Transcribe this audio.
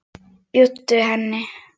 Bjóddu henni.